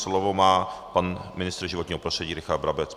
Slovo má pan ministr životního prostředí Richard Brabec.